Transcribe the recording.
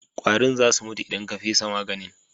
Ƙwarin za su mutu idan ka fesa maganin.